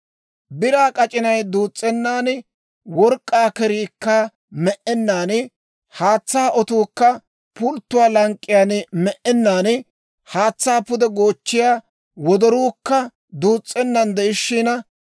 Biraa k'ac'inay duus's'ennan, work'k'aa keriikka me"ennan, haatsaa otuukka pulttuwaa lank'k'iyaan me"ennan, haatsaa pude goochchiyaa wodoruukka duus's'ennan de'ishiina,